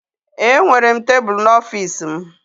Enwere m tebụl n'ọfịs m